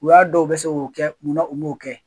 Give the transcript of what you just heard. U y'a dɔn u bɛ se ko kɛ munna u m'o kɛ?